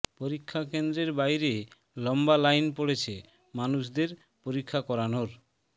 পরীক্ষা কেন্দ্রের বাইরে লম্বা লাইন পড়ছে মানুষদের পরীক্ষা করানোর